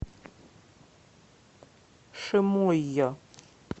шимойо